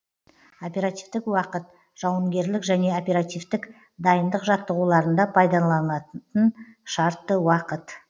оперативтік уақыт жауынгерлік және оперативтік дайындық жаттығуларында пайдаланылатын шартты уақыт